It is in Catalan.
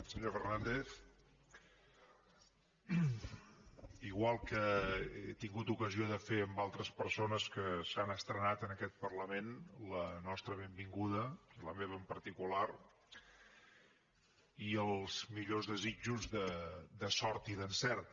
senyor fernàndez igual que he tingut ocasió de fer amb altres persones que s’han estrenat en aquest parlament la nostra benvinguda la meva en particular i els millors desitjos de sort i d’encert